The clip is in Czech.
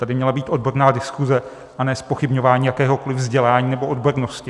Tady měla být odborná diskuse, a ne zpochybňování jakéhokoliv vzdělání nebo odbornosti.